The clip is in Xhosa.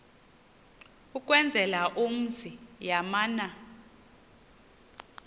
ukwenzela umzi yamana